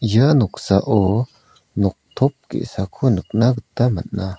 ia noksao noktop ge·sako nikna gita man·a.